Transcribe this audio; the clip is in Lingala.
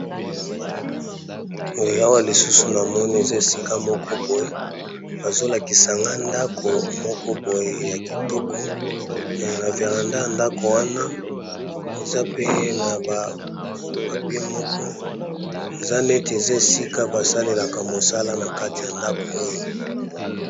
Awa lisusu namoni eza esika nako boye bazolakisa ngai ndaku moko boye ya kitoko